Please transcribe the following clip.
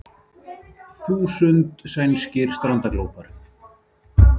Þúsund sænskir strandaglópar